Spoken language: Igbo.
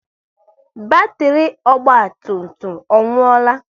Batiri ọgba tum tum ọ nwuola?